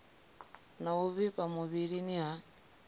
na u vhifha muvhilini ha